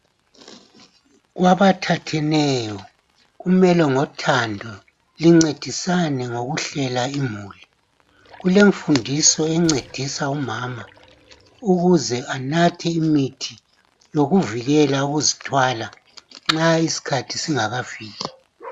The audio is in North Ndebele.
kwabathatheneyo kumele ngothando lincedisane ngokuhlela imuli kulemfundiso encedisa umama ukuze anathe imithi yokuvikela ukuzithwala nxa isikhathi singakafiki